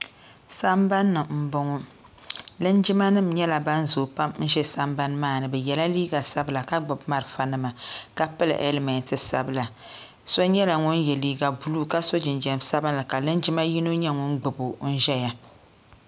Sambani ni m-bɔŋɔ linjimanima nyɛla ban zooi pam ʒe sambani maa ni bɛ yela liiga sabila ka gbubi marafanima ka pili helimeti sabila so nyɛla ŋun ye liiga buluu ka so jinjam sabinli ka linjima yino nyɛ ŋun gbubi o ʒiya.